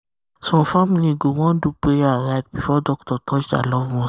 some family go want do prayer or rite before doctor touch their loved one.